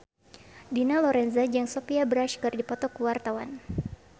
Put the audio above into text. Dina Lorenza jeung Sophia Bush keur dipoto ku wartawan